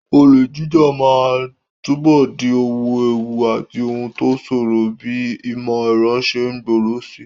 Olè jíjà máa túbọ̀ di ohun ewu àti ohun tó ṣòro bí ìmọ̀ ẹ̀rọ ṣe ń gbòòrò síi.